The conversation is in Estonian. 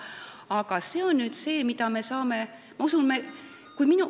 Aga mida me saame teha?